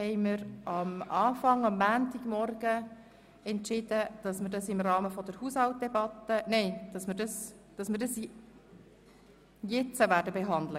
Wir haben am Montagmorgen entschieden, Traktandum 30 heute zu behandeln.